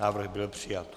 Návrh byl přijat.